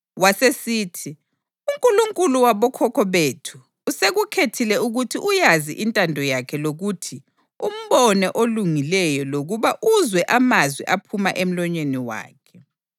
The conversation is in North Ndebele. Wasesithi, ‘UNkulunkulu wabokhokho bethu usekukhethile ukuthi uyazi intando yakhe lokuthi umbone oLungileyo lokuba uzwe amazwi aphuma emlonyeni wakhe.